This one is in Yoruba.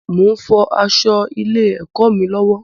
Mo ń fọ aṣọ ilé ẹkọ mí lọwọ